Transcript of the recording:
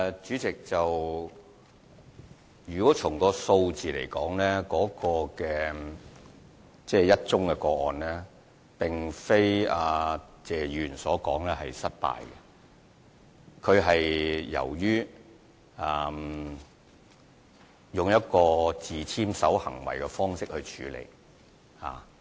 主席，從數字來看，只有1宗個案，但並不是謝議員所說的失敗個案，只是用了自簽守行為的方式處理。